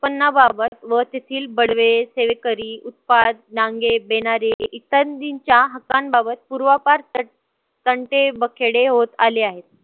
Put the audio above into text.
उत्पन्नाबाबत व तेथील बडवे, सेवेकरी, उत्पाद, नांगे, बेनारे इत्यादींच्या हक्कांबाबत पूर्वापार तंटे, बखेडे होत आले आहेत.